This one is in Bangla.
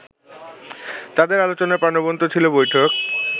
তাদের আলোচনায় প্রাণবন্ত ছিল বৈঠক